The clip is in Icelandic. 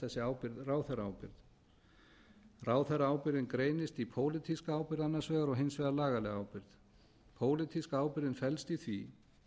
þessi ábyrgð ráðherraábyrgð ráðherraábyrgðin greinist í pólitíska ábyrgð annars vegar og hins vegar lagalega ábyrgð pólitíska ábyrgðin felst í því